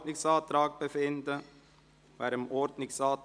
– Wenn nicht, befinden wir auch über diesen Ordnungsantrag.